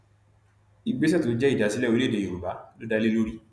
ìgbésẹ tó jẹ ìdásílẹ orílẹèdè yorùbá ló dá lé lórí